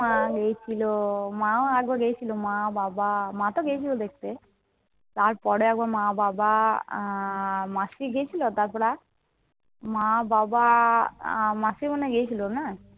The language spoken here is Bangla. মা গেছিল। মা আগেও গেছিল। মা, বাবা, মা তো গেছিল দেখতে। তারপরে মা, বাবা, মাসি গেছিল তারপরে আর? মা, বাবা, মাসি মনে হয় গেছিল না?